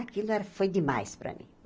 Aquilo era foi demais para mim.